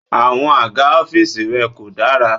Àwọn àga ọ́fíìsì rẹ kò dára.